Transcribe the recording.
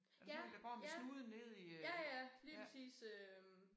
Ja ja ja ja lige præcis øh